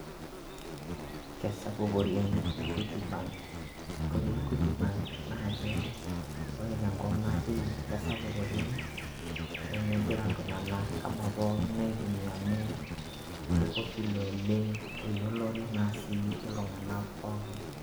kesapuk oleng equity bank ore equity bank. naa ke ore tenkop natii kesapuk oleng, kegira iltunganak anaa pookin aitumia amu ke popular oleng. eyiolore naa sii iltung'anak pookin.